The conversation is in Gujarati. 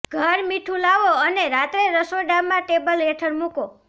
ઘર મીઠું લાવો અને રાત્રે રસોડામાં ટેબલ હેઠળ મૂકો